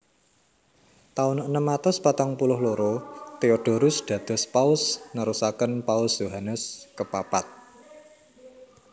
Taun enem atus patang puluh loro Theodorus dados Paus nerusaken Paus Yohanes kepapat